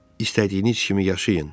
İstədiyiniz kimi yaşayın.